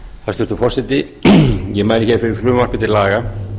hæstvirtur forseti ég mæli fyrir frumvarpi til laga